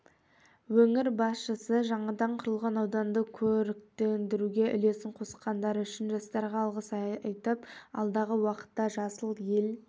өңір басшысы жаңадан құрылған ауданды көріктендіруге үлесін қосқандары үшін жастарға алғыс айтып алдағы уақытта жасыл ел